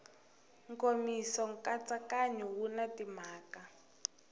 nkomiso nkatsakanyo wu na timhaka